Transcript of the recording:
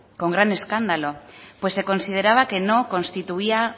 con gran escándalo pues se consideraba que no constituía